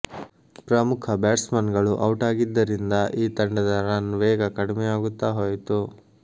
ಪ್ರಮುಖ ಬ್ಯಾಟ್ಸ್ಮನ್ಗಳು ಔಟಾಗಿದ್ದರಿಂದ ಈ ತಂಡದ ರನ್ ವೇಗ ಕಡಿಮೆಯಾಗುತ್ತಾ ಹೋಯಿತು